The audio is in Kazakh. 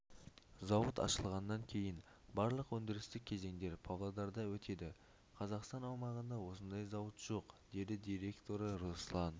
зауыт ашылғаннан кейін барлық өндірістік кезеңдер павлодарда өтеді қазақстан аумағында осындай зауыт жоқ деді директоры раслан